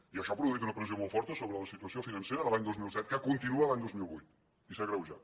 i això ha produït una pressió molt forta sobre la situació financera de l’any dos mil set que continua l’any dos mil vuit i s’ha agreu jat